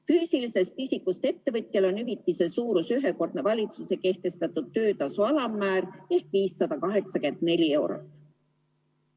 Füüsilisest isikust ettevõtjal on hüvitise suurus ühekordne valitsuse kehtestatud töötasu alammäär ehk 584 eurot.